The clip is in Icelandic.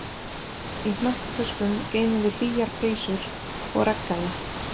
Í hnakktöskum geymum við hlýjar peysur og regngalla.